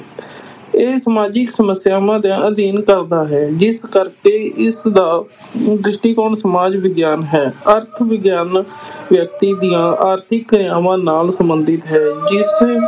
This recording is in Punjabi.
ਇਹ ਸਮਾਜਿਕ ਸਮੱਸਿਆਵਾਂ ਦਾ ਅਧਿਐਨ ਕਰਦਾ ਹੈ, ਜਿਸ ਕਰਕੇ ਇਸ ਦਾ ਦ੍ਰਿਸ਼ਟੀਕੋਣ ਸਮਾਜ ਵਿਗਿਆਨ ਹੈ, ਅਰਥ ਵਿਗਆਨ ਵਿਅਕਤੀ ਦੀਆਂ ਆਰਥਿਕ ਕ੍ਰਿਆਵਾਂ ਨਾਲ ਸੰਬੰਧਿਤ ਹੈ ਜਿਸ